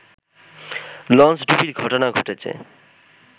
লঞ্চডুবির ঘটনা ঘটেছে